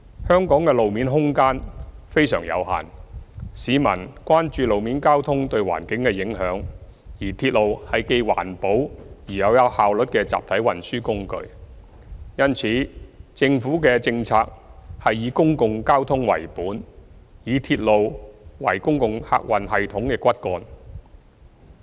香港的路面空間非常有限，市民亦關注路面交通對環境的影響，而鐵路是既環保又有效率的集體運輸工具，因此政府的政策是以公共交通為本，以鐵路為公共客運系統的骨幹。